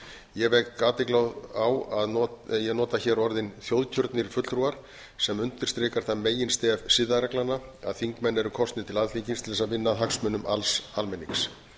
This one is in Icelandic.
ég vek athygli á að ég nota hér orðin þjóðkjörnir fulltrúar sem undirstrikar það meginstef siðareglnanna að þingmenn eru kosnir til alþingis til að vinna að hagsmunum alls almennings